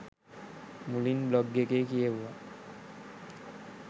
මුලින් බ්ලොග් එකේ කියෙව්වා